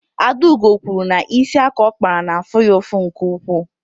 Adaugo kwuru na isi aka ọ kpara na-afụ ya ụfụ nke ukwuu.